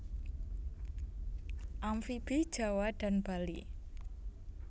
Amfibi Jawa dan Bali